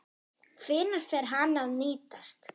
Hvenær fer hann að nýtast?